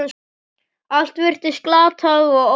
Allt virtist glatað og ónýtt.